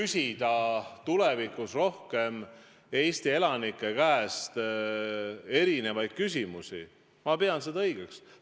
Seda, et tulevikus küsitakse rohkem Eesti elanike käest erinevaid küsimusi, ma pean õigeks.